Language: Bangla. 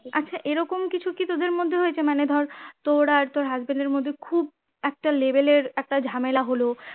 আচ্ছা এরকম কিছু কি তোদের মধ্যে হয়েছে যেমন ধর তোর আর তোর husband এর মধ্যে খুব একটা level এর একটা ঝামেলা হলো